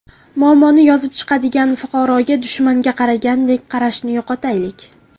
Muammoni yozib chiqadigan fuqaroga dushmanga qaragandek qarashni yo‘qotaylik”.